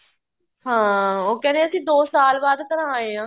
ਹਾਂ ਉਹ ਕਹਿੰਦੇ ਅਸੀਂ ਦੋ ਸਾਲ ਬਾਅਦ ਘਰਾਂ ਆਏ ਹਾਂ